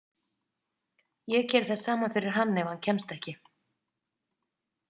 Ég geri það sama fyrir hann ef hann kemst ekki.